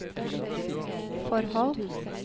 forhold